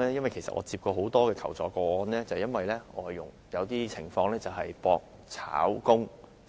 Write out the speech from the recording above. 我曾接獲很多求助個案，是有關外傭出現俗稱"搏炒"的情況，